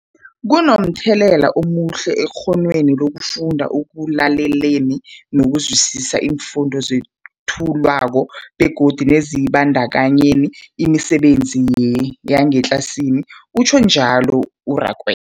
Kunomthelela omuhle ekghonweni lokufunda, ekulaleleni nokuzwisiswa iimfundo ezethulwako begodu nekuzibandakanyeni emisebenzini yangetlasini, utjhwe njalo u-Rakwe